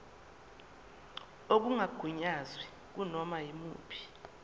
okungagunyaziwe kunoma yimuphi